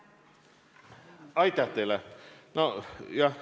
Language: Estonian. Aitäh teile!